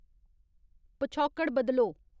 पछौकड़ बदलो